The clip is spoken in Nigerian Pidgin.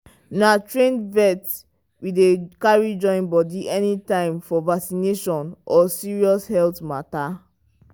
na trained vet we dey carry join body anytime for vaccination or serious health matter.